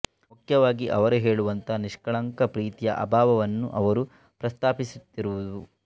ಮುಖ್ಯವಾಗಿ ಅವರು ಹೇಳುವಂತಹ ನಿಷ್ಕಳಂಕ ಪ್ರೀತಿಯ ಅಭಾವವನ್ನು ಅವರು ಪ್ರಸ್ತಾಪಿಸುತ್ತಿರುವುದು